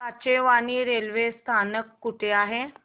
Kachewani railway स्थानक कुठे आहे